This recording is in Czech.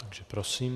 Takže prosím.